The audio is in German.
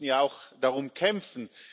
wir mussten ja auch darum kämpfen.